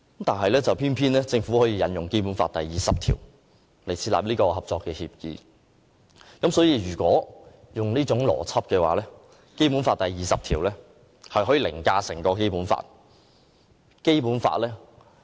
但政府偏偏引用《基本法》第二十條設立合作協議，若按照這種邏輯，《基本法》第二十條便可凌駕整部《基本法》了。